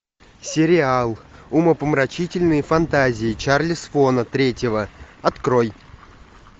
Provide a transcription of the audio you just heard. сериал умопомрачительные фантазии чарли свона третьего открой